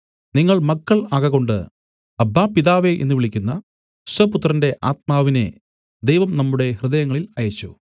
നിങ്ങൾ മക്കൾ ആകകൊണ്ട് അബ്ബാ പിതാവേ എന്നു വിളിക്കുന്ന സ്വപുത്രന്റെ ആത്മാവിനെ ദൈവം നമ്മുടെ ഹൃദയങ്ങളിൽ അയച്ചു